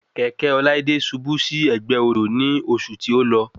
Kẹ̀kẹ́ Ọláídé ṣubú sí ẹ̀gbẹ́ odò nì oṣù tí o lọ